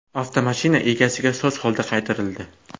Avtomashina egasiga soz holda qaytarildi.